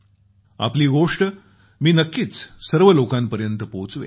आपली गोष्ट मी नक्कीच सर्व लोकांपर्यत पोहोचवेन